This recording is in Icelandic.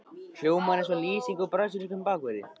Hljómar það eins og lýsing á brasilískum bakverði?